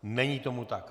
Není tomu tak.